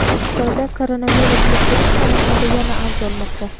Xitoyda koronavirus yuqtirish holatlari yana avj olmoqda.